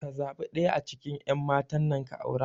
Ka zaɓi ɗaya a cikin ƴan matan nan ka aura